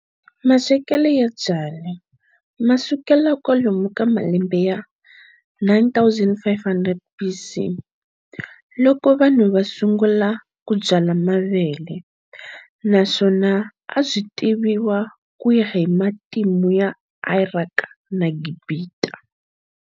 Maswekele ya byala masukela kwalomu ka malembe ya 9500 BC, loko vanhu va sungula ku byala mavele, naswona a byi tiviwa kuya hi matimu ya Iraki na Gibita.